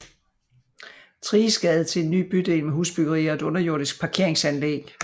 Thriges Gade til en ny bydel med husbyggeri og et underjordisk parkeringsanlæg